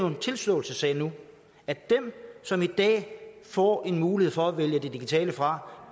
en tilståelsessag nu at dem som i dag får en mulighed for at vælge det digitale fra